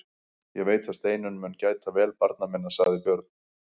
Ég veit að Steinunn mun gæta vel barna minna, sagði Björn loks.